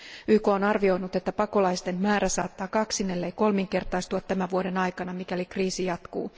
YK on arvioinut, että pakolaisten määrä saattaa kaksin ellei kolminkertaistua tämän vuoden aikana, mikäli kriisi jatkuu.